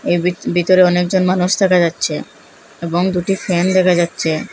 ভিত ভিতরে অনেকজন মানুষ দেখা যাচ্ছে এবং দুটি ফ্যান দেখা যাচ্চে।